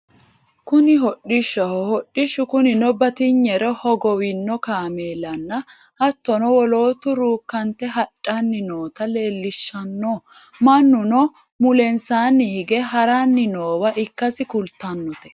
kuni hodhishshaho hodhishshu kunino batinyere hogowino kameelinna hattono woloottu ruukkante hadhanni noota leellishshanno mannuno mulensaanni hige haranni noowaa ikkasi kultannote